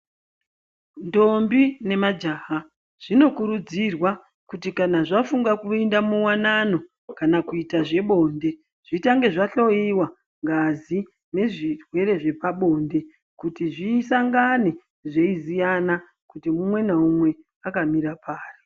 Ntombi nemajaha zvinokurudzirwa kuti kana zvafunga kuinda muwanano kana kuita zvebonde , zvitange zvahloyiwa ngazi nezvirwere zvepabonde kuti zvisangane zveiziyana kuti mumwe naumwe akamira pari .